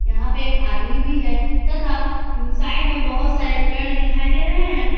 यहां पे एक आदमी भी है तथा साइड में बहुत सारे पेड़ दिखाई दे रहे हैं।